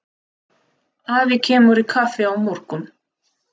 Afi kemur í kaffi á morgun.